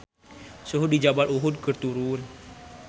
Suhu di Jabal Uhud keur turun